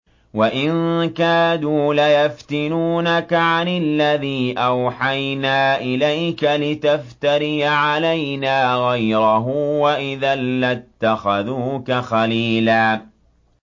وَإِن كَادُوا لَيَفْتِنُونَكَ عَنِ الَّذِي أَوْحَيْنَا إِلَيْكَ لِتَفْتَرِيَ عَلَيْنَا غَيْرَهُ ۖ وَإِذًا لَّاتَّخَذُوكَ خَلِيلًا